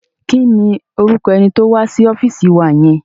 Kí ni orúkọ ẹni tó wá sí ọ́fíìsì wa yẹn?